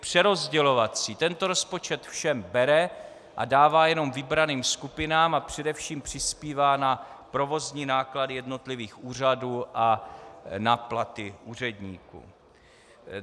Tento rozpočet všem bere a dává jenom vybraným skupinám a především přispívá na provozní náklady jednotlivých úřadů a na platy úředníků.